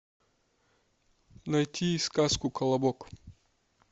найти сказку колобок